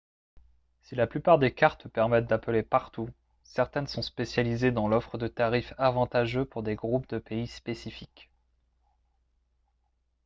si la plupart des cartes permettent d'appeler partout certaines sont spécialisées dans l'offre de tarifs avantageux pour des groupes de pays spécifiques